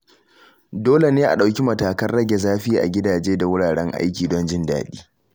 Dole ne a ɗauki matakan rage zafi a gidaje da wuraren aiki don jin daɗi.